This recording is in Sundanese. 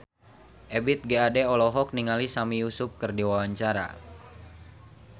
Ebith G. Ade olohok ningali Sami Yusuf keur diwawancara